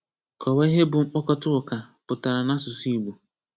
Kọwaa ihe bụ mkpokọta ụka pụtara n’asụsụ Igbo.